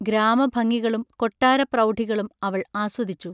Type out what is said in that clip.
ഗ്രാമഭംഗികളും കൊട്ടാരപ്രൗഢികളും അവൾ ആസ്വദിച്ചു